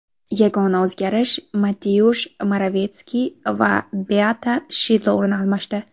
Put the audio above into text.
Yagona o‘zgarish Mateush Moravetskiy va Beata Shidlo o‘rin almashdi.